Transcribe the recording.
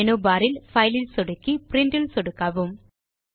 menu bar இல் file இல் சொடுக்கி பிரின்ட் இல் சொடுக்கவும்